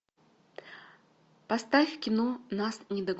поставь кино нас не догонят